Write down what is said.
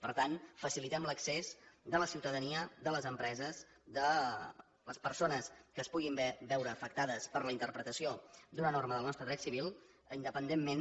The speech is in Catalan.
per tant facilitem l’accés de la ciutadania de les empreses de les persones que es puguin veure afectades per la interpretació d’una norma del nostre dret civil independentment